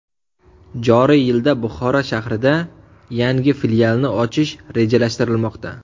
Joriy yilda Buxoro shahrida yangi filialni ochish rejalashtirilmoqda.